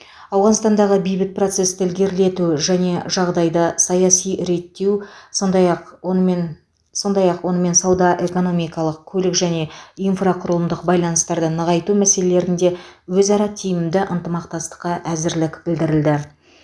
ауғанстандағы бейбіт процесті ілгерілету және жағдайды саяси реттеу сондай ақ онымен сондай ақ онымен сауда экономикалық көлік және инфрақұрылымдық байланыстарды нығайту мәселелерінде өзара тиімді ынтымақтастыққа әзірлік білдірілді